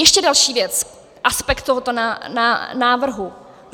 Ještě další věc, aspekt tohoto návrhu.